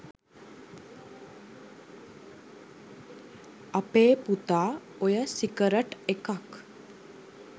අපේ පුතා ඔය සිගරට් එකක්